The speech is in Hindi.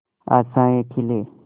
आशाएं खिले